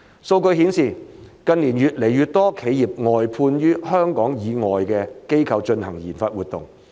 數據顯示，近年越來越多企業外判予香港以外的機構進行研發活動。